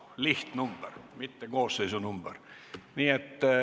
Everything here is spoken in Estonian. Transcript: See on lihtnumber, mitte koosseisu number.